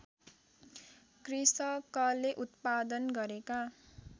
कृषकले उत्पादन गरेका